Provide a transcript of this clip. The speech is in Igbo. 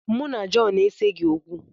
Mụ na Jọn eseghị okwu.